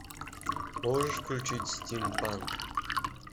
можешь включить стимпанк